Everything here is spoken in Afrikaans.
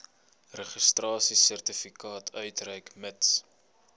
registrasiesertifikaat uitreik mits